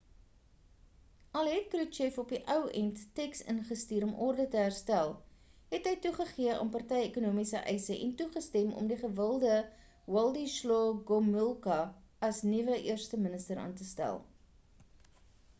al het kruchev op die ou end tenks ingestuur om orde te herstel het hy toegegee aan party ekonomiese eise en toegestem om die gewilde wladyslaw gomulka as die nuwe eersteminister aan te stel